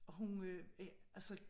Og hun øh var altså